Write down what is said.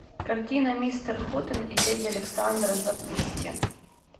картина мистер хутен и леди александра запусти